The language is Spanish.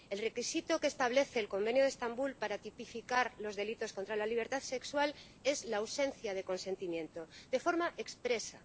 El requisito que establece el Convenio de Estambul para tipificar los delitos contra la libertad sexual es la ausencia de consentimiento de forma expresa.